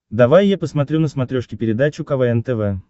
давай я посмотрю на смотрешке передачу квн тв